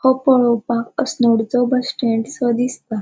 ओ पोळोवपाक अस्नोडचो बस स्टैन्डसो दिसता.